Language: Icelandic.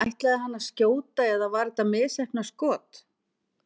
En ætlaði hann að skjóta eða var þetta misheppnað skot?